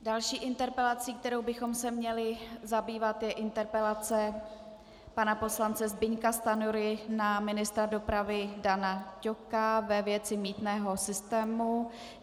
Další interpelací, kterou bychom se měli zabývat, je interpelace pana poslance Zbyňka Stanjury na ministra dopravy Dana Ťoka ve věci mýtného systému.